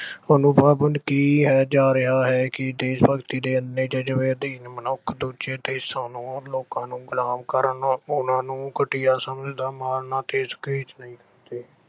ਸਾਨੂੰ ਕਿਹਾ ਜਾ ਰਿਹਾ ਹੈ ਕਿ ਦੇਸ਼-ਭਗਤੀ ਦੇ ਅੰਨੇ ਜ਼ਜਬੇ ਅਧੀਨ ਮਨੁੱਖ ਦੂਜੇ ਦੇੇਸ਼ਾਂ ਨੂੰ, ਲੋਕਾਂ ਨੂੰ ਗੁਲਾਮ ਕਰਨ, ਉਹਨਾਂ ਨੂੰ ਘਟੀਆਂ ਸਮਝ